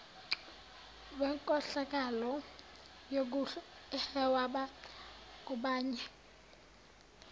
wenkohlakalo yokuhweba ngabanye